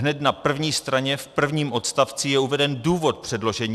Hned na první straně v prvním odstavci je uveden důvod předložení.